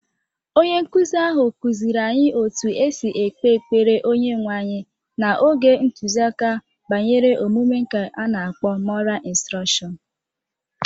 Onye nkụzi ahụ kụziiri anyị otú e si ekpe ekpere Onyenwe anyị n'oge ntụziaka banyere omume nke ana-akpọ moral instrọkshọñ